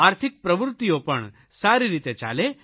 આર્થિક પ્રવૃત્તિઓ પણ સારી રીતે ચાલે